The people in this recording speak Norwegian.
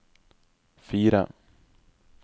fire